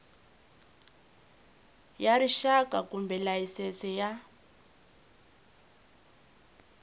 ya rixaka kumbe layisense ya